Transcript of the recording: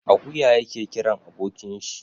Akuya yake kiran abokin shi.